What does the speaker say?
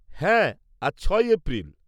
হ্যাঁ, আজ ছয়ই এপ্রিল।